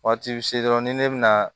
Waati bɛ se dɔrɔn ni ne bɛna